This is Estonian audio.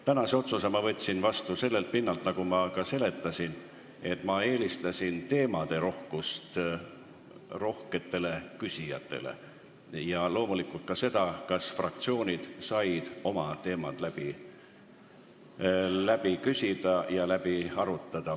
Tänase otsuse ma tegin sellelt pinnalt, nagu ma ka seletasin, et ma eelistasin teemade rohkust rohketele küsijatele, ja loomulikult ka seda, et fraktsioonid said oma teemad läbi küsida ja läbi arutada.